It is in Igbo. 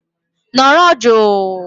Nọrọ jụụ!!